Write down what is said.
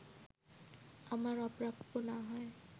আমার অপ্রাপ্য না হয়